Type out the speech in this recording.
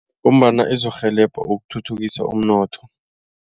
Ngombana izokurhelebha ukuthuthukisa umnotho.